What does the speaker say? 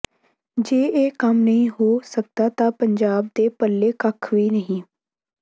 ਜੇ ਇਹ ਕੰਮ ਨਹੀਂ ਹੋ ਸਕਦਾ ਤਾਂ ਪੰਜਾਬ ਦੇ ਪੱਲੇ ਕੱਖ ਵੀ ਨਹੀਂ